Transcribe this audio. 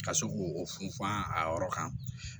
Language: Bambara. Ka sɔrɔ k'o funfun a yɔrɔ kan